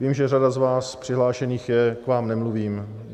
Vím, že řada z vás přihlášených je, k vám nemluvím.